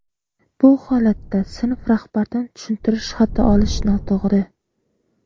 bu holatda sinf rahbardan tushuntirish xati olish noto‘g‘ri.